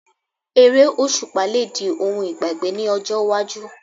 Eré òṣùpá lè di ohun ìgbàgbé ní ọjọ́ iwájú